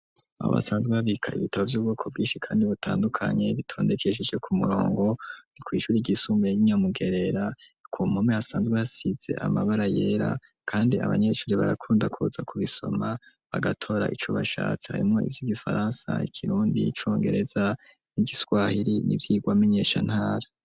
Aho basanzwe babika ibitabo vy'ubwoko bwishi kandi butandukanye bitondekesheje ku murongo nikwishuri ryisumbuye ryi Nyamugerera kumpome asanzwe basize amabara yera kandi abanyeshuri barakundakuza ku bisoma bagatora icubashatsi harimo ivy' igifaransa ikirundi congereza n'igiswahiri n'ivyirwa menyeshantara.